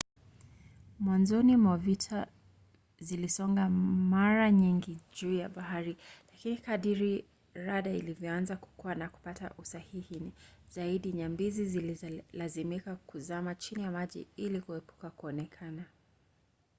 mwanzoni mwa vita zilisonga mara nyingi juu ya bahari lakini kadiri rada ilivyoanza kukua na kupata usahihi zaidi nyambizi zililazimika kuzama chini ya maji ili kuepuka kuonekana